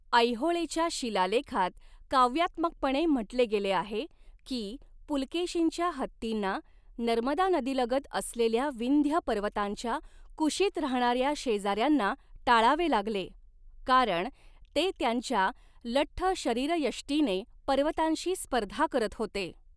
ऐहोळेच्या शिलालेखात काव्यात्मकपणे म्हटले गेले आहे की, पुलकेशीनच्या हत्तींना नर्मदा नदीलगत असलेल्या विंध्य पर्वतांच्या कुशीत राहणाऱ्या शेजाऱ्यांना टाळावे लागले, कारण 'ते त्यांच्या लठ्ठ शरीरयष्टीने पर्वतांशी स्पर्धा करत होते.